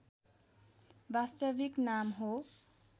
वास्तविक नाम हो